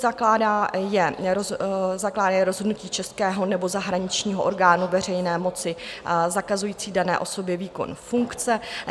Zakládá je rozhodnutí českého nebo zahraničního orgánu veřejné moci zakazující dané osobě výkon funkce.